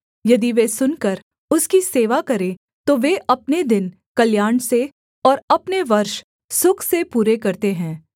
यदि वे सुनकर उसकी सेवा करें तो वे अपने दिन कल्याण से और अपने वर्ष सुख से पूरे करते हैं